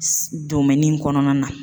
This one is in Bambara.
kɔnɔna na.